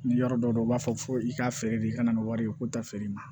Ni yɔrɔ dɔ u b'a fɔ ko i ka feere de i ka na nin wari ye ko ta feere ma